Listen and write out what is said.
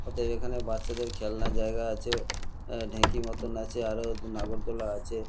ওতো এখানে বাচ্ছাদের খেলনার জায়গা আছে অ্যাঁ ঢেঁকি মতন আছে আরও নাগরদোলনা আছে।